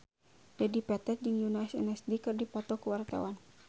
Dedi Petet jeung Yoona SNSD keur dipoto ku wartawan